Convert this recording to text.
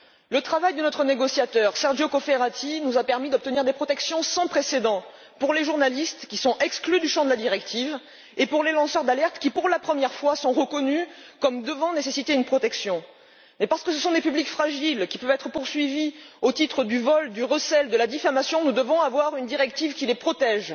Le travail de notre négociateur, Sergio Cofferati, nous a permis d'obtenir une protection sans précédent pour les journalistes, qui sont exclus du champ de la directive et pour les lanceurs d'alertes qui, pour la première fois, sont reconnus comme ayant besoin d'une protection. Et parce que ce sont des publics fragiles, qui peuvent être poursuivis pour vol, recel ou diffamation, nous devons avoir une directive qui les protège.